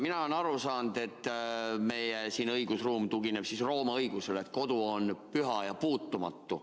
Mina olen aru saanud, et meie õigusruum tugineb Rooma õigusele, et kodu on püha ja puutumatu.